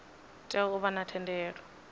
tea u vha na thendelo